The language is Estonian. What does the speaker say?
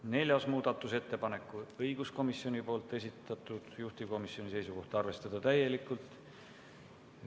Ka neljas muudatusettepanek on õiguskomisjoni esitatud, juhtivkomisjoni seisukoht on arvestada seda täielikult.